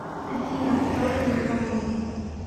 афина кто из индонезия